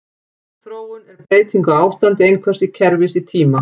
Þróun er breyting á ástandi einhvers kerfis í tíma.